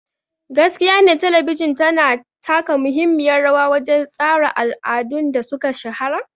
Gaskiyane Talabijin tana taka muhimmiyar rawa wajen tsara al'adun da suka shahara.